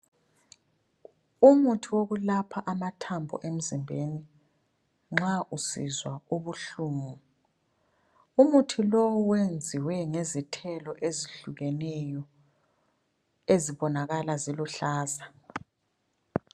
Umuthi wokulapha amathambo emzimbeni nxa usizwa ubuhlungu. Umuthi lo wenziwe ngezithelo ezihlukeneyo ezibonakala ziluhlaza.